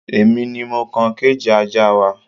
Èmi ni mo kan kéèjì ajá wa